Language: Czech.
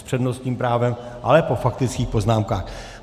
S přednostním právem, ale po faktických poznámkách.